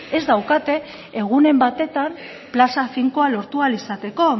ez daukate egunen batetan plaza finkoa lortu ahal izateko